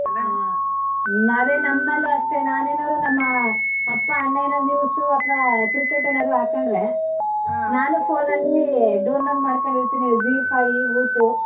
ಹಾ ಅದೇ ನಮ್ ಅಲ್ಲೂ ಅಷ್ಟೇ ನಾನೇನಾದ್ರೂ ನಮ್ಮ ಅಪ್ಪ ಅಣ್ಣ ಏನಾದ್ರು news ಅತ್ವ cricket ಏನ್ ಆದ್ರೂ ಹಾಕೊಂಡ್ರೆ ನಾನು phone ನಲ್ಲಿ download ಮಾಡ್ಕೊಂಡಿರ್ತಿನಿ Zee five voot.